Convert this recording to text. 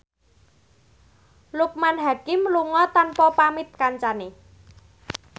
Loekman Hakim lunga tanpa pamit kancane